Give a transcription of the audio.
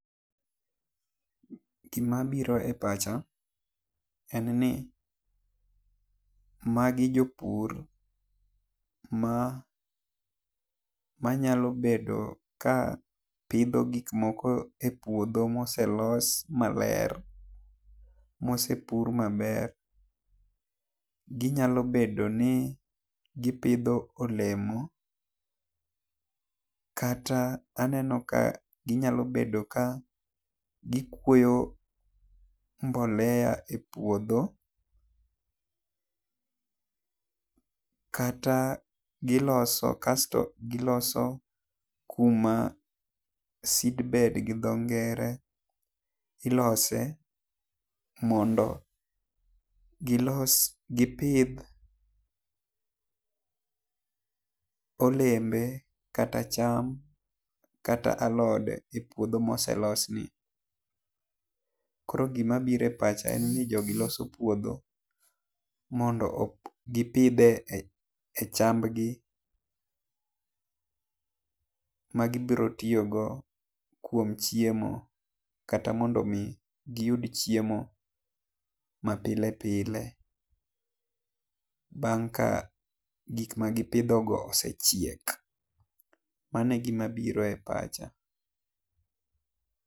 Gi ma biro e pacha en ni ma gi jopur ma nyalo bedo ka pidho gik moko e puodho ma oselos ma ber ma osepur ma ber. Gi nyalo bedo ni gi pidho olemo kata aneno ka gi nyalo bedo ka gi kuoyo mbolea e ouodho kata gi loso kasto gi loso kuma seed bed gi dho ngere ilose mondo gi los gi pidh olembe kata cham kata alode e puodho ma oselosi. Koro gi ma biro e pacha en ni jogi loso puodho mondo gi pidhe cham gi ma gi biro tiyo go kuom chiemo kata mondo mi gi yud chiemo ma pile pile bang' ka gik ma gi pidho go osechiek. Mano e gi ma biro e pacha.